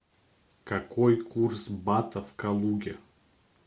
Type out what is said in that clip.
какой курс бата в калуге